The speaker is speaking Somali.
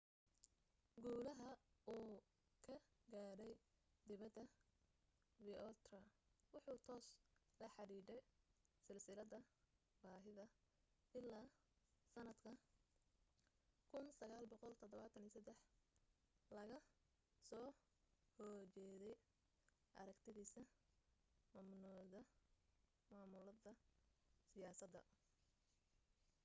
guulaha uu ka gaadhay dibada vautier wuxuu toos la xidhidha silsilada baahida ilaa sanadka 1973 lagga soo hojeeday aragtidisa mamnuida siyasada